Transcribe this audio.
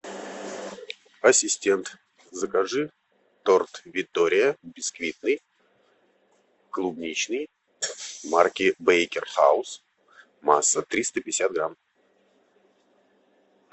ассистент закажи торт виктория бисквитный клубничный марки бейкер хаус масса триста пятьдесят грамм